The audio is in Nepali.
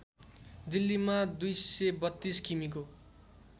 दिल्लीमा २३२ किमीको